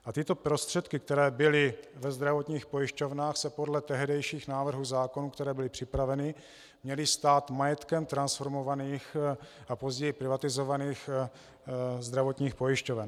A tyto prostředky, které byly ve zdravotních pojišťovnách, se podle tehdejších návrhů zákonů, které byly připraveny, měly stát majetkem transformovaných a později privatizovaných zdravotních pojišťoven.